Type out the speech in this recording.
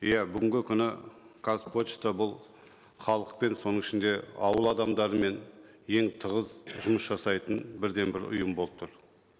иә бүгінгі күні қазпошта бұл халықпен соның ішінде ауыл адамдарымен ең тығыз жұмыс жасайтын бірден бір ұйым болып тұр